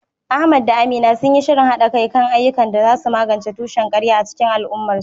Ahmad da Amina sun yi shirin haɗa kai kan ayyukan da za su magance tushen ƙarya a cikin al’ummarsu.